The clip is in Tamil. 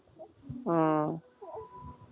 ஆ